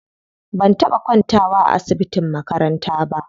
Ban taɓa kwantawa a asibitin makaranta ba.